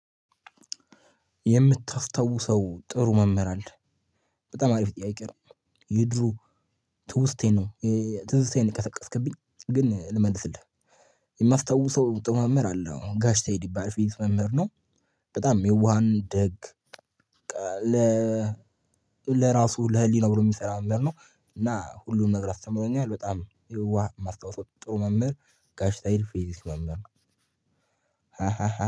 የምታስተውሰው ጥሩ መምህር አለ። በጣም አሪፍ ጥያቄ ነው። የድሮ ትውስታዬን ነው። ትዝታዬን ቀሰቀስክብኝ። ግን ልመልስልህ የማስታውሰው ጥሩ መምህር አለ ጋሽ ሰይድ ይባላል ፊዝክስ መምር ነው። በጣም የዋህና ደግ። ለ ለራሱ ለህሊና ብሎ የሚሰራ ነገር ነው። እና ሁሉንም ነገር አስተምሮኛል። በጣም የዋህ ማስታውሰው ጥሩ መምህር ገሽ ሰይድ ፊዚክስ መምህር ነው።